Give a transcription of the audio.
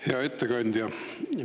Hea ettekandja!